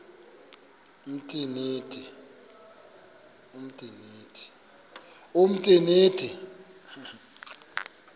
umtriniti